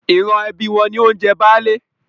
Ìran ẹbí wọn ni ó ń jẹ Baálé.